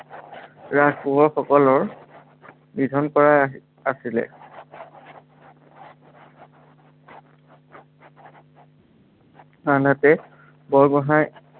কোঁৱৰ সকলৰ, নিধন কৰা আছিলে। আনহাতে, বৰগোহাঁই